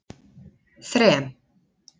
þrem